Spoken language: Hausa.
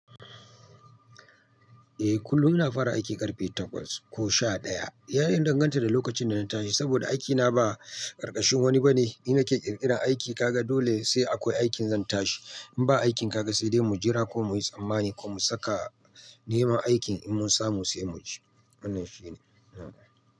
Eh kullum ina fara aiki ƙarfe takwas ko sha ɗaya. Ya danganta da lokacin da na tashi saboda aikina ba ƙarƙashin wani ba ne. Ni nake ƙirƙiran aiki, kaga dole sai akwai aikin zan tashi. In ba aikin ka ga sai dai mu jira ko mu yi tsammani ko mu saka nema aikin in mun samu sai mu je. Wannan shine.